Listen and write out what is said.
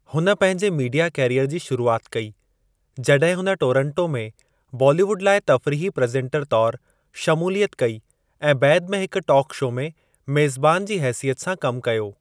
हुन पंहिंजे media career जी शुरूआति कई जॾहिं हुन टोरांटो में बॉलीवुड लाइ तफ़रीही प्रेज़ेंटर तौरु शमूलियत कई ऐं बैदि में हिक टॉक शो में मेज़बान जी हेसियत सां कम कयो।